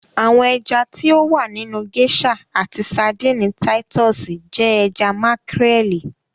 Àwọn ẹja ti o wà nínu geisha àti Sárḍíńí Títùsí jẹ ẹja makarẹli.